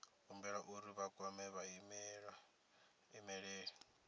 humbelwa uri vha kwame vhaimeleli